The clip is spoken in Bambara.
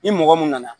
Ni mɔgɔ mun nana